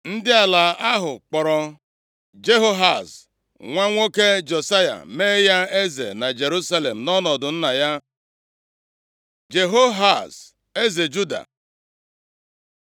Ndị ala ahụ kpọọrọ Jehoahaz, nwa nwoke Josaya mee ya eze na Jerusalem, nʼọnọdụ nna ya. Jehoahaz eze Juda